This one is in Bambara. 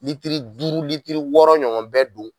Litiri duuru litiri wɔɔrɔ ɲɔgɔn bɛ don